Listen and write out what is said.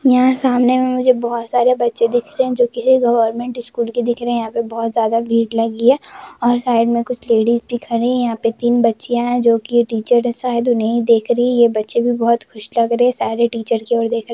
यहाँ सामने में मुझे बहुत सारे बच्चे दिख रहे है जो के यह गोवर्मेंट स्कूल के दिख रहे है यहाँ पे बोहोत ज्यादा भीड़ लगी है और साइड में कुछ लेडीज भी खड़ी है यहाँ पे तीन बच्चियाँ हैजो के टीचर शायद उन्हे ही देख रही है ये बच्चे भी बोहोत खुश लग रहे हैशायद यह टीचर की वजह से--